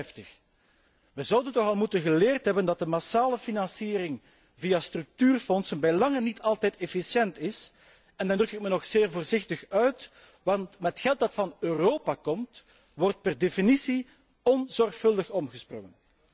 en 53. We zouden toch al geleerd moeten hebben dat de massale financiering via structuurfondsen bij lange na niet altijd efficiënt is, en dan druk ik mij nog zeer voorzichtig uit, want met geld dat van Europa komt wordt per definitie onzorgvuldig omgesprongen.